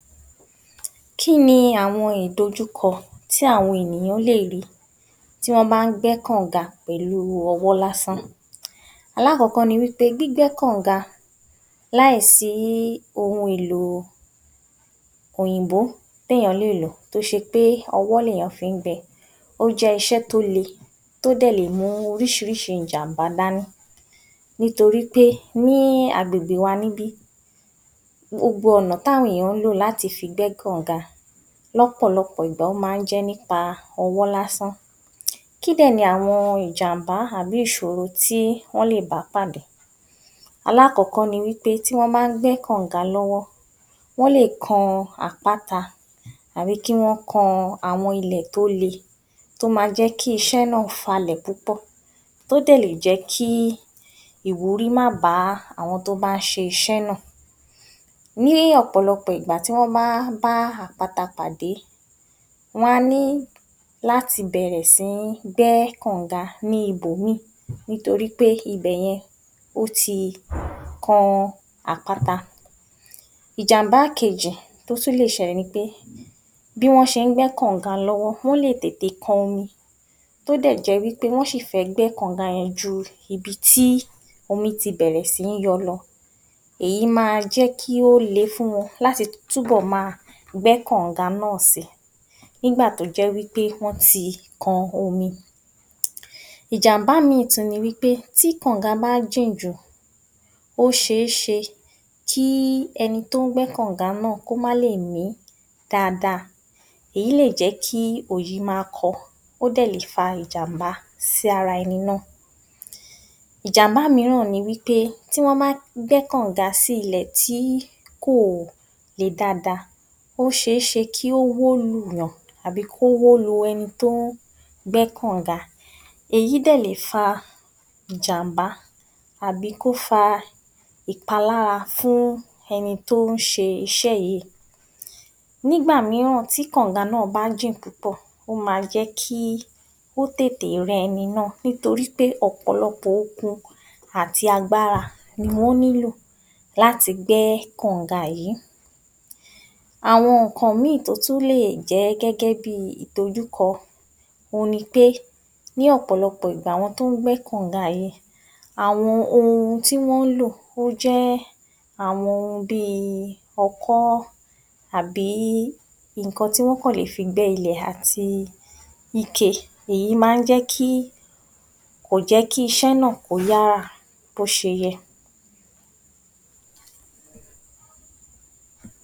00870 Kí ni àwo̩n ìdojúko̩ tí àwo̩n èèyàn léè rì í tí wó̩n bá ń gbé̩ kànǹga pè̩lú o̩wó̩ lásán? Alákò̩ó̩kó̩ ni wí pé gbígbé̩ kànǹga láìsí ohun èlò òyìnbó téèyàn léè lò tó s̩e pé o̩wó̩ lèèyàn fi ń gbe̩, ó jé̩ is̩é̩ tó le, tó dè̩ le mú orís̩i ìjàǹbá dání nítorí pé ní agbègbè wa níbí gbogbo ò̩nà táwo̩n ènìyàn ń lò láti fi gbé̩ kànǹga, ló̩pò̩lo̩pò̩ ìgbà ó máa ń jé̩ nípa o̩wó̩ lásán. Kí dè̩ ni àwo̩n ìjàǹbá àbí ìs̩òro tí wó̩n lè bá pàdé? Alákò̩ó̩kó̩ ni wí pé tí wó̩n bá ń gbé̩ kànǹga ló̩wó̩ wó̩n lè kan àpáta tàbí kí wó̩n kan àwo̩n ilè̩ tó le tó ma jé̩ kí is̩é̩ náà falè̩ púpò̩ tó jè̩ lè jé̩ kí ìwúrí má bá àwo̩n tó bá ń s̩is̩é̩ náà. Ní ò̩pò̩lo̩pò̩ ìgbà tí wó̩n bá ń bá àpáta pàdé, wó̩n á ní láti bè̩rè̩ sí ní gbé̩ kànǹga ní ibòmíì, nítorí pé ibè̩ yẹn ó ti kan àpáta. Ìjàǹbá kejì tí ó tún lè s̩e̩lè̩ ni pé bí wó̩n s̩e ń gbé̩ kànǹga ló̩wó̩ wó̩n lè tètè kan omi tó jé̩ dé̩ wí pé ó sì fé̩ gbé̩ kànǹga ye̩n ju ibi tí omi ti bè̩rè̩ sí í yo̩ lo̩, èyí máa jé̩ kí ó le fún wo̩n láti túbò̩ máa gbé̩ kànǹga náà si nígbà tó jẹ́ wí pé wó̩n ti kan omi. Ìjàǹbá míì tún ni wí pé tí kànǹga bá jìn jù ó s̩e é s̩e kí e̩ni tó ń gbé̩ kànǹga náà kí ó má lè mí dáadáa. Èyí lè jé̩ kí òòyì máa kó̩ ó dè̩ lè fa ìjàǹbá sí ara e̩ni náà. Ìjàǹbá mìíràn ni wí pé tí wó̩n bá gbé̩ kànǹga sí ilè̩ tí kò le dáadáa, ó s̩e é s̩e kí ó wó lù wó̩n tàbí kí ó wó lu e̩ni tó ń gbé̩ kànǹga, èyí dè̩ le fa ìjàǹbá àbí kó fa ìpalára fún e̩ni tó ń s̩e is̩é̩ yìí. Nígbà mìíràn tí kànǹga náà bá jìn púpò̩, ó máa jé̩ kí ó tètè re̩ e̩ni náà nítorí pé ò̩pò̩lo̩pò̩ okun àti agbára ni wó̩n nílò láti gbé̩ kànǹga yìí. Àwo̩n nǹkan mìíì tó tùn lé jé̩ gé̩gé̩ bi ìdojúko̩, òhun ni pé ní ò̩pò̩lo̩pò̩ ìgbà àwo̩n tó ń gbé̩ kànǹga yìí, àwo̩n ohun tí wó̩n ń lò ó jé̩ àwo̩n ohun bíi o̩ko̩ àbí nǹkan tí wó̩n kàn le fi gbé̩ ilé àti ike. Èyí máa ń jé̩ kí kò jé̩ kí is̩é̩ náà kó yára bí ó s̩e ye̩.